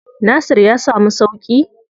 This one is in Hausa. Nasir ya samu sauƙi?